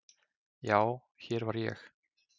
Já, hér var ég.